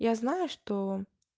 я знаю что